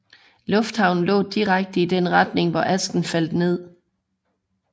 Lufthavnen lå direkte i den retning hvor asken faldt ned